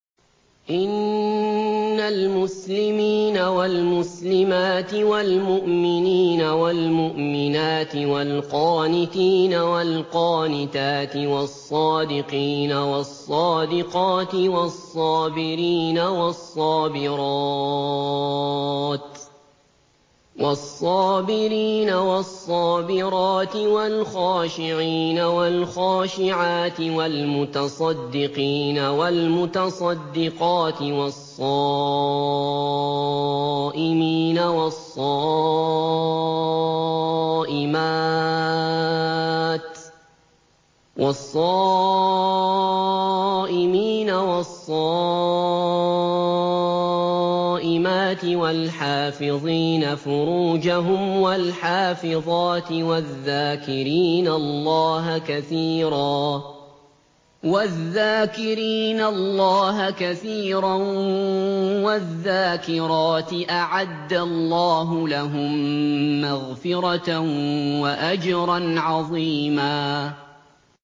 إِنَّ الْمُسْلِمِينَ وَالْمُسْلِمَاتِ وَالْمُؤْمِنِينَ وَالْمُؤْمِنَاتِ وَالْقَانِتِينَ وَالْقَانِتَاتِ وَالصَّادِقِينَ وَالصَّادِقَاتِ وَالصَّابِرِينَ وَالصَّابِرَاتِ وَالْخَاشِعِينَ وَالْخَاشِعَاتِ وَالْمُتَصَدِّقِينَ وَالْمُتَصَدِّقَاتِ وَالصَّائِمِينَ وَالصَّائِمَاتِ وَالْحَافِظِينَ فُرُوجَهُمْ وَالْحَافِظَاتِ وَالذَّاكِرِينَ اللَّهَ كَثِيرًا وَالذَّاكِرَاتِ أَعَدَّ اللَّهُ لَهُم مَّغْفِرَةً وَأَجْرًا عَظِيمًا